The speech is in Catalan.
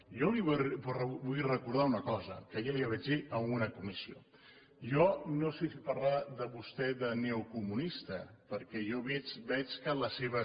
jo li vull recordar una cosa que ja li vaig dir en una comissió jo no sé si parlar de vostè de neocomunista perquè jo veig que les seves